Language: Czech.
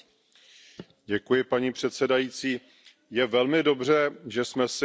Paní předsedající, je velmi dobře, že jsme si připomněli